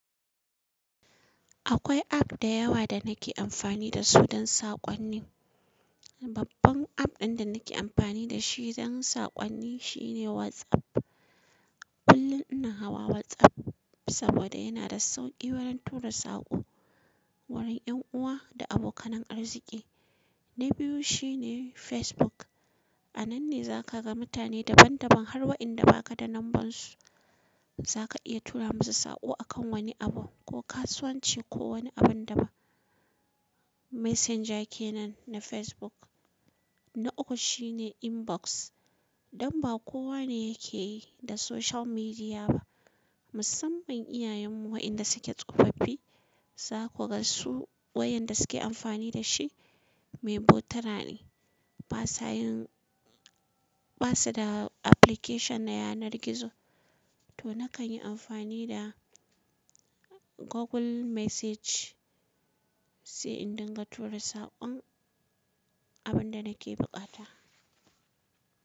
Akwai app da yawa da nake amfani da su don saƙonni. Babban app ɗin da nake amfani da shi don saƙonni shine WhatsApp. Kullum ina hawa WhatsApp saboda yana da sauƙi wurin tura saƙo wurin ’yan uwa da abokanan arziki. Na biyu shine Facebook. A nan ne za ka ga mutane daban-daban har wa'inda ba ka da lambun su. Za ka iya tura musu saƙo a kan wani abu ko kasuwanci ko wani abin da ba. Messenger kenan na Facebook. Na uku shine Inbox. Dan ba kowa ne yake da social media ba. Musamman iyayenmu waɗanda suke tsofaffi, za ku ga su wayar da suke amfani da shi, mai botura ne. Ba sayin, ba su da application na yanar gizo. To nakan yi amfani da Google Message, sai in dinga tura saƙon abin da nake buƙata.